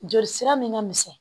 Joli sira min ka misɛn